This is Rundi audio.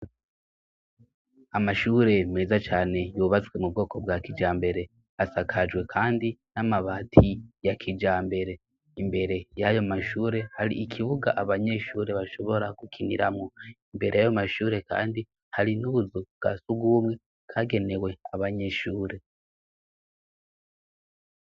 Amashure meza cane yubatswe mu bwoko bwa kijambere, asakajwe kandi n'amabati ya kijambere. Imbere y'ayo mashure hari ikibuga abanyeshure bashobora gukiniramwo. Imbere y'ayo mashure kandi hari nakazu kasugumwe kagenewe abanyeshure.